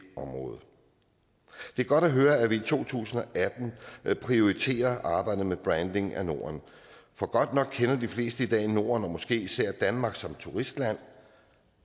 område det er godt at høre at vi i to tusind og atten prioriterer arbejdet med branding af norden for godt nok kender de fleste i dag norden og måske især danmark som turistland